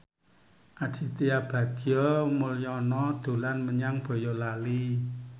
Aditya Bagja Mulyana dolan menyang Boyolali